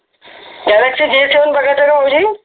Galaxy J seven बघा तर भाऊजी